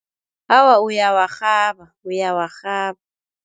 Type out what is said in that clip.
Awa, uyawarhaba, uyawarhaba.